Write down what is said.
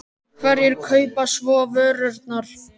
En hverjir kaupa svo vörurnar?